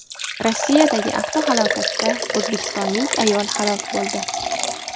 Rossiyadagi avtohalokatda o‘zbekistonlik ayol halok bo‘ldi.